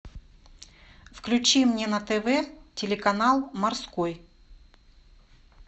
включи мне на тв телеканал морской